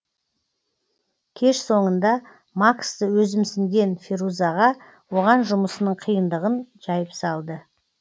кеш соңында максты өзімсінген ферузаға оған жұмысының қиындығын жайып салды